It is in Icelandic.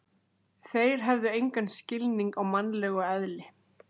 Þeir hefðu engan skilning á mannlegu eðli.